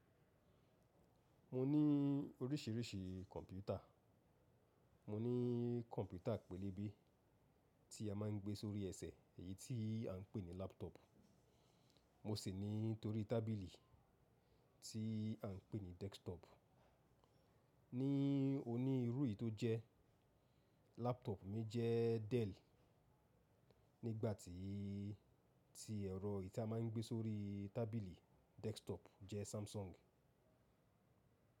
Mo ní oríṣirísií kọ̀m̀pútà. Mo ní kọ̀m̀pútà pélébé tí a máa ń gbé sórí ẹsẹ̀ èyí tí à ń pè ní laptop. Mo sì ní torí tábìlì tí à ń pè ní desktop. Ní oní irú èyí tó jẹ́ laptop mí jẹ́ Dell nígbàtí ti ẹ̀rọ èyí ta màa ń gbé sórí tábìlì desktop jẹ́ Samsung.